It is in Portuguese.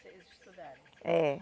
Vocês estudarem. É